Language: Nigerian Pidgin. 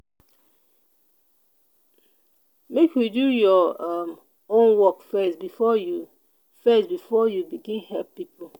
make you do your um own work first before you first before you begin help pipo.